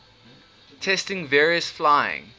testing various flying